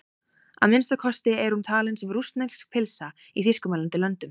Að minnsta kosti er hún talin sem rússnesk pylsa í þýskumælandi löndum.